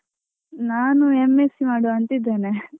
ನಾನು M.sc ಮಾಡುವ ಅಂತ ಇದ್ದೇನೆ .